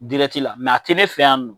la a tɛ ne fɛ yan nɔ.